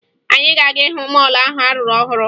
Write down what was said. Anyị ga-aga hụ mọọlụ ahụ a rụrụ ọhụrụ